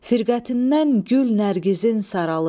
Firqətindən gül nərgizin saralı.